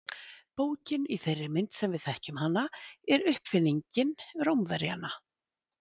bókin í þeirri mynd sem við þekkjum hana er uppfinning rómverjanna